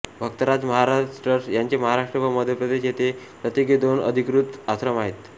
भक्तराज Maharaj trust यांचे महाराष्ट्र व मध्य प्रदेश येथे प्रत्येकी दोन अधिकृत आश्रम आहेत